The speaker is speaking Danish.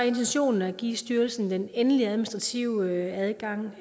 intentionen at give styrelsen den endelige administrative adgang